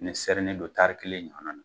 Ni sɛrini don kelen ɲɔgɔnna na.